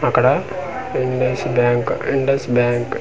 అక్కడ Indus bank Indus bank ఇండ్--